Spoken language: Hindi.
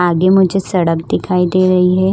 आगे मुझे सड़क दिखाई दे रही है।